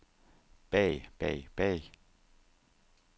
bag bag bag